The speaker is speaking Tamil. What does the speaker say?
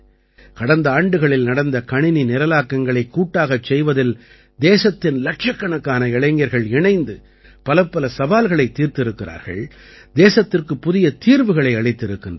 கடந்த ஆண்டுகளில் நடந்த கணினி நிரலாக்கங்களைக் கூட்டாகச் செய்வதில் தேசத்தின் இலட்சக்கணக்கான இளைஞர்கள் இணைந்து பலப்பல சவால்களைத் தீர்த்திருக்கிறார்கள் தேசத்திற்குப் புதிய தீர்வுகளை அளித்திருக்கின்றார்கள்